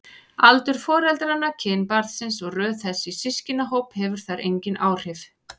Aldur foreldranna, kyn barnsins eða röð þess í systkinahóp hefur þar engin áhrif.